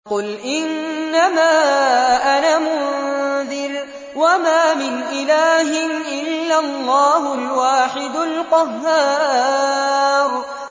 قُلْ إِنَّمَا أَنَا مُنذِرٌ ۖ وَمَا مِنْ إِلَٰهٍ إِلَّا اللَّهُ الْوَاحِدُ الْقَهَّارُ